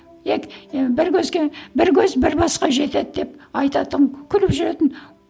і бір көзге бір көз бір басқа жетеді деп айтатын күліп жүретін